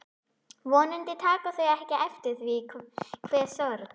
Vonandi taka þau ekki eftir því hve sorg